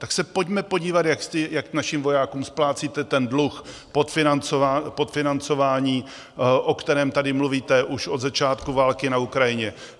Tak se pojďme podívat, jak našim vojákům splácíte ten dluh, podfinancování, o kterém tady mluvíte už od začátku války na Ukrajině.